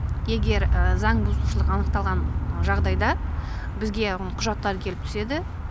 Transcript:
егер заңбұзушылық анықталған жағдайда бізге құжаттар келіп түседі